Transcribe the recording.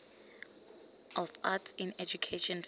of arts in education vista